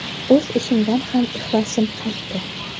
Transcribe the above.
O‘z ishimdan ham ixlosim qaytdi.